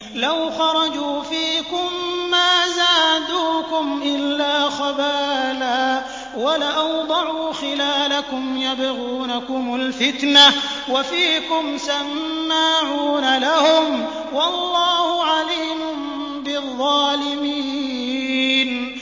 لَوْ خَرَجُوا فِيكُم مَّا زَادُوكُمْ إِلَّا خَبَالًا وَلَأَوْضَعُوا خِلَالَكُمْ يَبْغُونَكُمُ الْفِتْنَةَ وَفِيكُمْ سَمَّاعُونَ لَهُمْ ۗ وَاللَّهُ عَلِيمٌ بِالظَّالِمِينَ